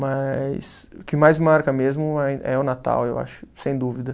Mas o que mais marca mesmo é é o Natal, eu acho, sem dúvida.